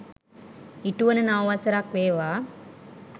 ඉටුවන නව වසරක් වේවා.